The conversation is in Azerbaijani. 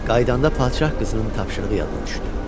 Qayıdanda padşah qızının tapşırığı yadına düşdü.